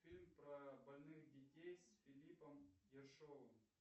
фильм про больных детей с филиппом ершовым